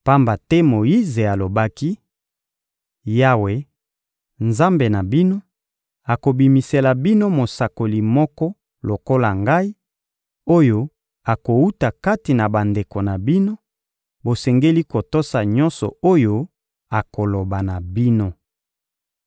Pamba te Moyize alobaki: «Yawe, Nzambe na bino, akobimisela bino mosakoli moko lokola ngai, oyo akowuta kati na bandeko na bino; bosengeli kotosa nyonso oyo akoloba na bino.